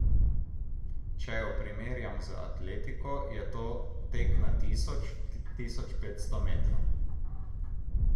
Če jo primerjam z atletiko, je to tek na tisoč, tisoč petsto metrov.